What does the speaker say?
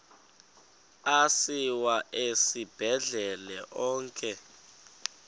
asiwa esibhedlele onke